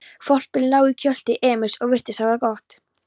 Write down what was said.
Hvolpurinn lá í kjöltu Emils og virtist hafa það gott.